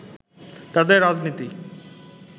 তাদের রাজনীতি